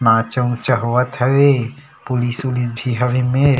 नाचा-उचा होवत हवे पुलिस उलिस भी हवे ए मेर--